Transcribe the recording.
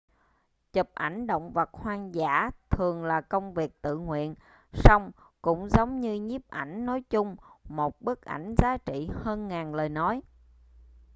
chụp ảnh động vật hoang dã thường là công việc tự nguyện song cũng giống như nhiếp ảnh nói chung một bức ảnh giá trị hơn ngàn lời nói